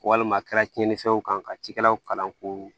Walima a kɛra tiɲɛnifɛnw kan ka cikɛlaw kalan k'u